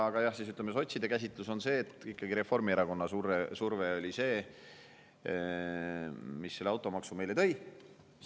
Aga jah, ütleme, sotside käsitluse järgi oli ikkagi Reformierakonna surve see, mis automaksu meile tõi.